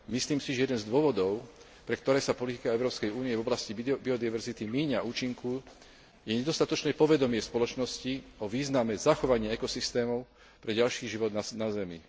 Myslím si, že jeden z dôvodov, pre ktoré sa politika Európskej únie v oblasti biodiverzity míňa účinku, je nedostatočné povedomie v spoločnosti o význame zachovania ekosystémov pre ďalší život na Zemi.